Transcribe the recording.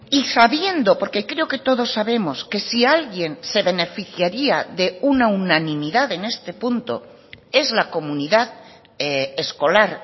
y sabiendo porque creo que todos sabemos que si alguien se beneficiaria de una unanimidad en este punto es la comunidad escolar